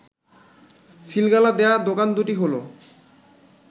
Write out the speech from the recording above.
সিলগালা দেয়া দোকান দুটি হল